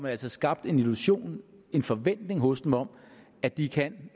altså skabt en illusion en forventning hos dem om at de kan